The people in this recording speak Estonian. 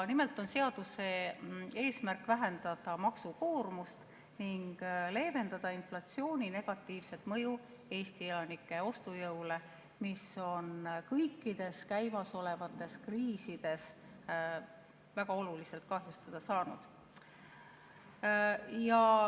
Nimelt on seaduse eesmärk vähendada maksukoormust ning leevendada inflatsiooni negatiivset mõju Eesti elanike ostujõule, mis on kõikides käimasolevates kriisides väga oluliselt kahjustada saanud.